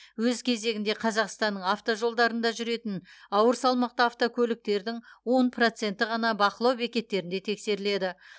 өз кезегінде қазақстанның автожолдарында жүретін ауыр салмақты автокөліктердің он проценті ғана бақылау бекеттерінде тексеріледі